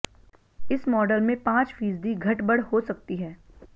इस मॉडल में पांच फीसदी घटबढ़ हो सकती है